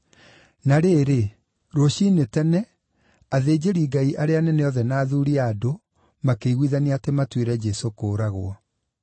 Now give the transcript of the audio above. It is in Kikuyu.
Na rĩrĩ, rũciinĩ tene, athĩnjĩri-Ngai arĩa anene othe na athuuri a andũ makĩiguithania atĩ matuĩre Jesũ kũũragwo.